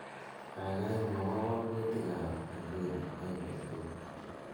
gaigai mwowon wakutik ab inguni en betut